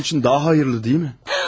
Ölməsi onun üçün daha xeyirlidir, deyilmi?